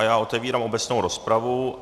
A já otevírám obecnou rozpravu.